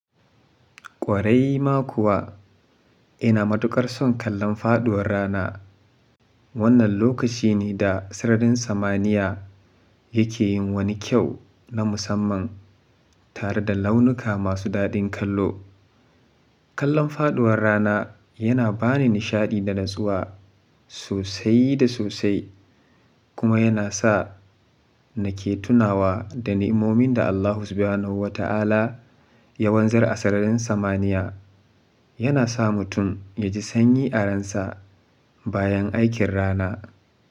Ƙwarai ma kuwa, ina matuƙar son kallon faduwar rana. Wannan lokaci ne da sararin samaniya yake yin wani kyau na musamman tare da launuka masu daɗin kallo. Kallon faduwar rana yana bani nishaɗi da natsuwa sosai da sosai kuma yana sa nake tunawa da nimomin da Allahu subi hu na wata ala ya wanzar a sararin samaniya. Yana sa mutum ya ji sanyi a ransa bayan aikin rana.